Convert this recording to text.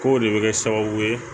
K'o de bɛ kɛ sababu ye